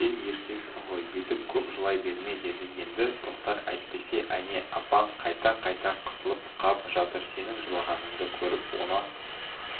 сен еркексің ғой бүйтіп көп жылай берме деді енді тоқтар әйтпесе әне апаң қайта-қайта қысылып қап жатыр сенің жылағаныңды көріп онан